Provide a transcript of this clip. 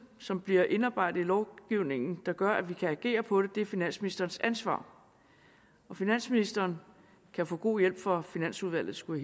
som bliver indarbejdet i lovgivningen der gør at vi kan agere på det er finansministerens ansvar finansministeren kan få god hjælp fra finansudvalget skulle